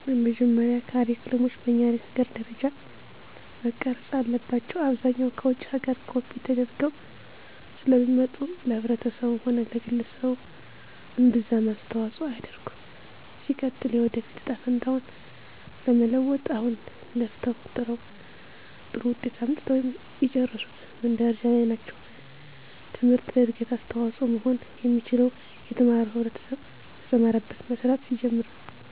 በመጀመሪያ ካሪክለሞች በኛ ሀገር ደረጃ መቀረፅ አለባቸው። አብዛኛው ከውጭ ሀገር ኮፒ ተደርገው ስለሚመጡ ለማህበረሰቡም ሆነ ለግለሰቡ እምብዛም አስተዋፅሆ አያደርግም። ሲቀጥል የወደፊት እጣ ፈንታውን ለመለወጥ አሁን ለፍተው ጥረው ጥሩ ውጤት አምጥተው የጨረሱት ምን ደረጃ ላይ ናቸው ትምህርት ለእድገት አስተዋፅሆ መሆን የሚችለው የተማረው ህብረተሰብ በተማረበት መስራት ሲጀምር ነው።